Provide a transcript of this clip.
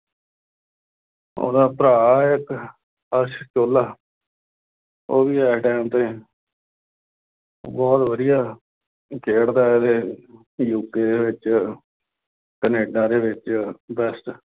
ਉਹਦਾ ਭਰਾ ਆ ਇੱਕ ਅਰਸ਼ ਚੋਹਲਾ ਉਹ ਵੀ ਇਸ time ਤੇ ਬਹੁਤ ਵਧੀਆ, ਖੇਡਦਾ ਹੈਗਾ, ਯੂ. ਕੇ. ਵਿੱਚ ਕਨੇਡਾ ਦੇ ਵਿੱਚ best